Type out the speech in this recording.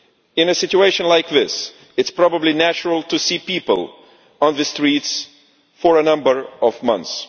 In a situation like this, it is probably natural to see people on the streets for several months.